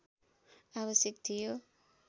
आवश्यक थियो